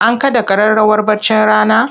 An kaɗa ƙararrawar baccin rana?